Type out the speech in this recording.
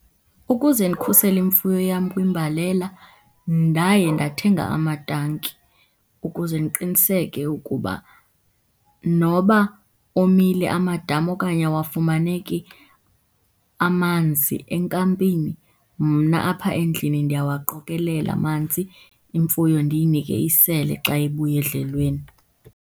Ukuze ndikhusele imfuyo yam kwimbalela ndaye ndathenga amatanki ukuze ndiqiniseke ukuba noba omile amadami okanye awafumaneki amanzi enkampini, mna apha endlini ndiyawaqokelela amanzi, imfuyo ndiyinike isele xa ibuya edlelweni.